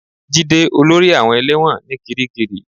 Jide olórí àwọn ẹlẹ́wọ̀n ní kiríkirì